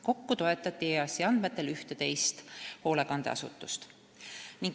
Kokku toetati EAS-i andmetel 11 hoolekandeasutust.